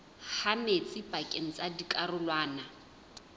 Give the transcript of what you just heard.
ha metsi pakeng tsa dikarolwana